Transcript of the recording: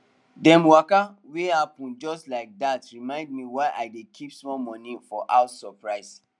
dem waka wey happen just like that remind me why i dey keep small money for house surprise